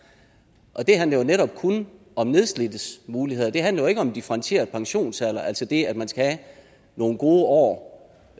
det handler jo netop kun om nedslidtes muligheder det handler ikke om differentieret pensionsalder altså det at man skal have nogle gode år